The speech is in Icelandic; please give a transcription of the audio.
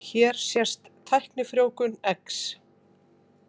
Hér sést tæknifrjóvgun eggs.